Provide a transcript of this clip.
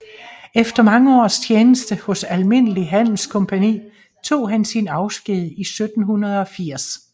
Efter mange års tjeneste hos Almindelige Handelscompagnie tog han sin afsked i 1780